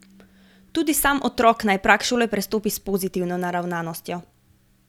Tudi sam otrok naj prag šole prestopi s pozitivno naravnanostjo.